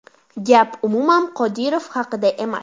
Gap umuman Qodirov haqida emas.